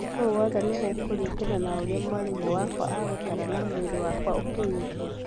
O wothe nĩgũkũringana na ũrĩa mwarimũ wakwa agũtaara na mwĩrĩ wakwa ũkwĩigua